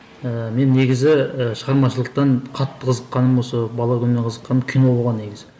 ііі мен негізі і шығармашылықтан қатты қызыққаным осы бала күнімнен қызыққаным кино болған негізі